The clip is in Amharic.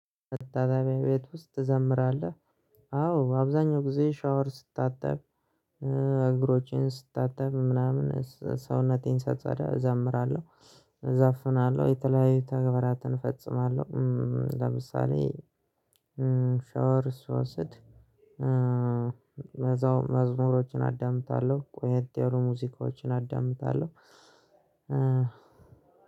መታጠቢያ ቤት ውስጥ ትዘምራለህ? አዎ አብዛኛው ጊዜ ሻወር ስታጠብ እግሮቼን ስታጠብ ምናምን ሰውነቴን ሳጸዳ እዘምራለሁ። እዘፍናለሁ የተለያዩ ተግባራትን እፈጽማለሁ። ለምሳሌ ሻወር ስወስድ እዛው መዝሙሮችን አዳምጣለሁ። ቆየት የሆኑ ሙዚቃዎችን አዳምጣለሁ።